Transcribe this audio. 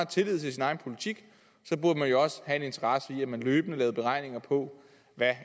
tillid til sin egen politik burde man jo også have en interesse i løbende at lave beregninger på hvad